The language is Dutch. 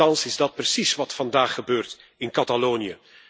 En toch is dat precies wat vandaag gebeurt in Catalonië.